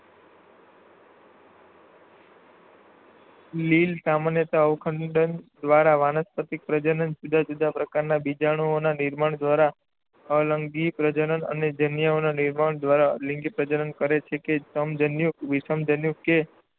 લીલ સામાન્યતઃ અવખંડન દ્વારા વાનસ્પતિક પ્રજનન, જુદા જુદા પ્રકારનાં બીજાણુઓના નિર્માણ દ્વારા અલિંગી પ્રજનન અને જન્યુઓના નિર્માણ દ્વારા લિંગી પ્રજનન કરે છે કે જે સમજન્યુક, વિષમજન્યુક કે